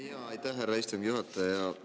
Aitäh, härra istungi juhataja!